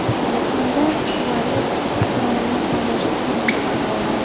Yakunda Suares dronni poylashga muvaffaq bo‘ldi.